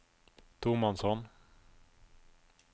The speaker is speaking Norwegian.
tomannshånd